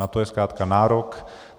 Na to je zkrátka nárok.